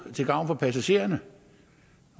til gavn for passagererne